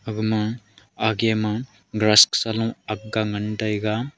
aga ma age ma glass sa low aak ga nagn taiga.